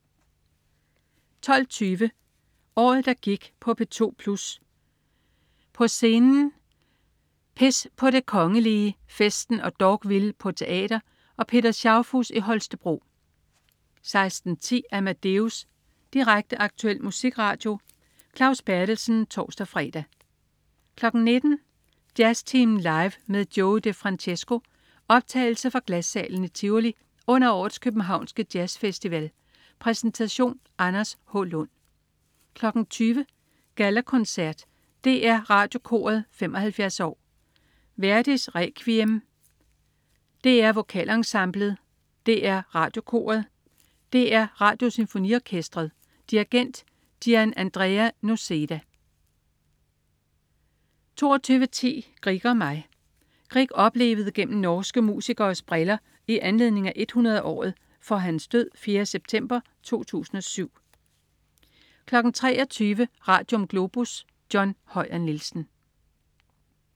12.20 Året, der gik på P2 Plus. På scenen. "Pis" på det Kongelige, "Festen" og "Dogville" på teater og Peter Schaufuss i Holstebro 16.10 Amadeus. Direkte, aktuel musikradio. Claus Berthelsen (tors-fre) 19.00 Jazztimen Live med Joey DeFrancesco. Optagelse fra Glassalen i Tivoli under årets københavnske jazzfestival. Præsentation: Anders H. Lund 20.00 Gallakoncert. DR Radiokoret 75 år. Verdi: Requiem. DR Vokalensemblet. DR Radiokoret. DR Radiosymfoniorkestret. Dirigent: Gianandrea Noseda 22.10 Grieg og mig. Grieg oplevet gennem norske musikeres briller i anledning af 100-året for hans død 4. september 2007 23.00 Radium. Globus. John Høyer Nielsen